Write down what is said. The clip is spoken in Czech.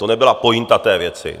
To nebyla pointa té věci.